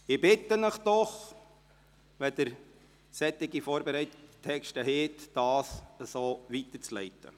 Ich bitte Sie doch, wenn Sie solche vorbereiteten Texte haben, diese so weiterzuleiten.